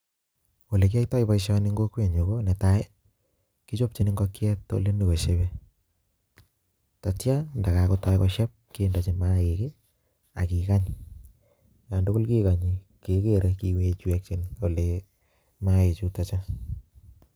Olekiyoito boishoni en kokwenyun ko netai kichopchin ing'okiet olenyokosheben, ndatia ndakakonyokosieb kindechi mainik ak kekany, olantukul kekonye kekere kewech weche maiik chuto chuu.